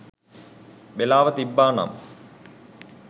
වෙලාව තිබ්බා නම්